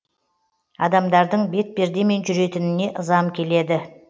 адамдардың бетпердемен жүретініне ызам келеді